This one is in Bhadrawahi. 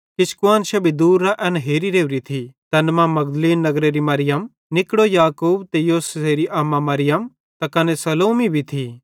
किछ कुआन्शां भी दूरेरां एन हेरी राओरी थी तैन मां मगदलीन नगरेरी मरियम निकड़ो याकूब ते योसेसेरी अम्मा मरियम त कने सलोमी भी थी